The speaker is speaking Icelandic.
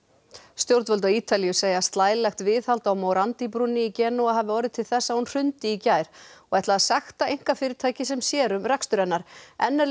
stjórnvöld á Ítalíu segja að slælegt viðhald á morandi brúnni í Genúa hafi orðið til þess að hún hrundi í gær og ætla að sekta einkafyrirtækið sem sér um rekstur hennar enn er